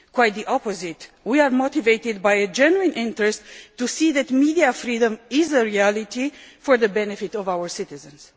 Quite the opposite, we are motivated by a genuine interest to see that media freedom is a reality for the benefit of our citizens.